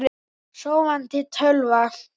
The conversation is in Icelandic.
Sofandi tölva.